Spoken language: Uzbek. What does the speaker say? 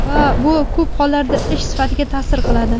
va bu ko‘p hollarda ish sifatiga taʼsir qiladi.